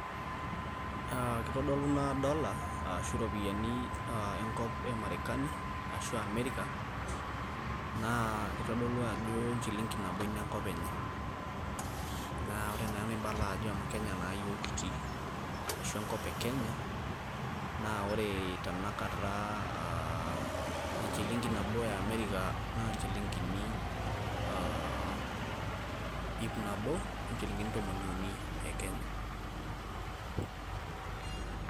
aa kitodolu ina dollar ashu iropiyiani e marekani aashu amerika, naa kitodolu ajo enchilinki ina nabo enkop enye. naa ore naa enaibala ajo amu kenya naa iyiook kitii. ashu enkop e kenya. naa ore tenakata aa enchilinki nabo eamerika naa enchilinki iip nabo onchilinkini tomon iuni e kenya.